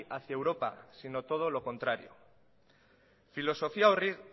hacía europa sino todo lo contrario filosofia horri